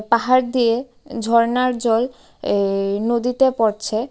পাহাড় দিয়ে ঝরনার জল এ-ই নদীতে পড়ছে.